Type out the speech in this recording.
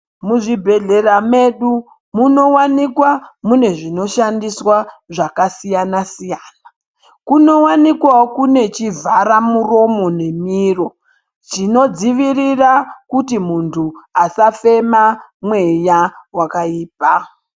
Muzvibhedhlera mwedu munowanikwa mune zvinoshandiswa zvakasiyana siyana. Kunowanikwawo kune chivhara muromo nemiro chinodzivirira kuti muntu asafema mweya wakaipa.